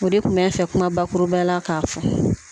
O de kun bɛ n fɛ kuma bakurubaya la ka fɔ